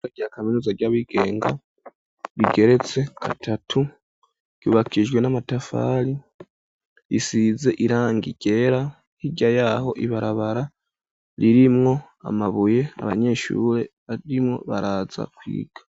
kaminuza ry'abigenga Rigeretse katatu yubakijwe n'amatafaRi isize irangI ryera k'ijya yaho ibarabara ririmwo amabuye abanyeshure arimo baraza kwiga.